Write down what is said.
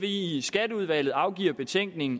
i skatteudvalget afgiver betænkning